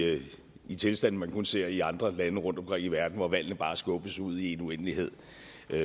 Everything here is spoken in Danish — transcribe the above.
i tilstande man kun ser i andre lande rundtomkring i verden hvor valgene bare skubbes ud i en uendelighed